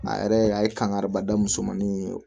A yɛrɛ a ye kankari da musomanin in ye